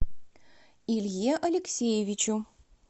илье алексеевичу